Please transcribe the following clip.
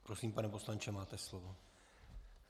Prosím, pane poslanče, máte slovo.